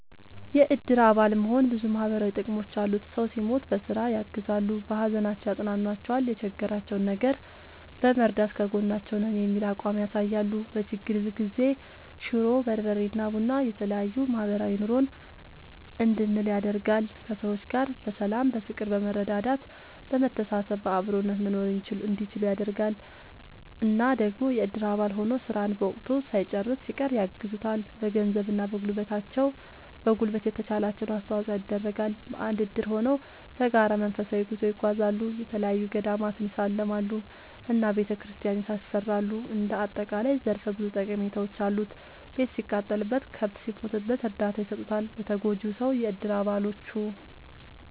የእድር አባል መሆን ብዙ ማህበራዊ ጥቅሞች አሉት ሰው ሲሞት በስራ ያግዛሉ። በሀዘናቸው ያፅኗኗቸዋል የቸገራቸውን ነገር በመርዳት ከጎናችሁ ነን የሚል አቋም ያሳያሉ። በችግር ጊዜ ሽሮ፣ በርበሬ እና ቡና የተለያዬ ማህበራዊ ኑሮን እንድንል ያደርጋል። ከሰዎች ጋር በሰላም በፍቅር በመረዳዳት በመተሳሰብ በአብሮነት መኖርእንዲችሉ ያደርጋል። እና ደግሞ የእድር አባል ሆኖ ስራን በወቅቱ ሳይጨርስ ሲቀር ያግዙታል በገንዘብ እና በጉልበት የተቻላቸውን አስተዋፅዖ ይደረጋል። በአንድ እድር ሆነው በጋራ መንፈሳዊ ጉዞ ይጓዛሉ፣ የተለያዪ ገዳማትን ይሳለማሉ እና ቤተክርስቲያን ያሰራሉ እንደ አጠቃላይ ዘርፈ ብዙ ጠቀሜታዎች አሉት። ቤት ሲቃጠልበት፣ ከብት ሲሞትበት እርዳታ ይሰጡታል ለተጎጂው ሰው የእድር አባሎቹ።…ተጨማሪ ይመልከቱ